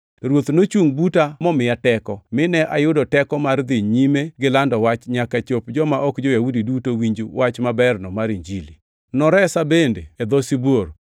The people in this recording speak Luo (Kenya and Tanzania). To Ruoth nochungʼ buta momiya teko, mine ayudo teko mar dhi nyime gilando wach nyaka chop joma ok jo-Yahudi duto winj wach maberno mar Injili. Noresa bende e dho sibuor.